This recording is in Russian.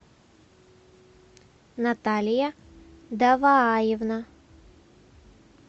наталья давааевна